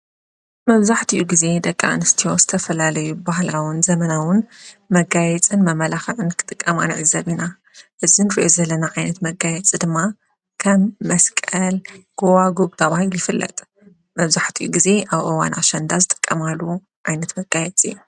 መብዛሕትኡ ጊዜ ደቂ እንስትዮ ዝተፈላለዩ ባህላውን ዘመናውን መጋይጽን መመላኽዕን ክጥቀማ ንዕዘብና እዝንሬየ ዘለና ዓይነት መጋየጽ ድማ ከም መስቀል ጐዋጕብ ዳብይ ይፍለጥ መብዛሕቲኡ ጊዜ ኣብ እዋን አሸንዳ ዝጠቀማሉ ዓይነት መጋየፂ እዩ ::